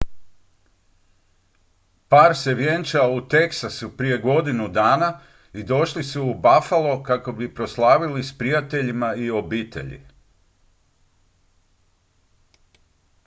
par se vjenčao u teksasu prije godinu dana i došli su u buffalo kako bi proslavili s prijateljima i obitelji